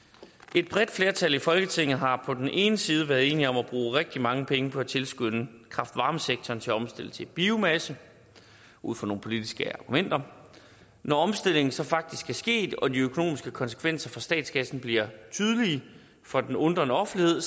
et bredt flertal i folketinget har på den ene side været enige om at bruge rigtig mange penge på at tilskynde kraft varme sektoren til at omstille til biomasse ud fra nogle politiske argumenter når omstillingen så faktisk er sket og de økonomiske konsekvenser for statskassen bliver tydelige for den undrende offentlighed